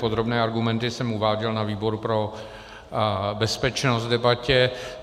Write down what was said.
Podrobné argumenty jsem uváděl na výboru pro bezpečnost v debatě.